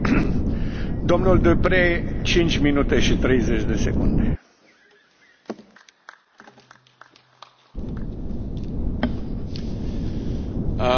Monsieur le Président, Madame la Vice présidente de la Commission, Monsieur le Président du Conseil, je commencerai moi aussi par les remerciements parce que j'ai peur de ne pas avoir le temps de le faire à la fin de mon intervention.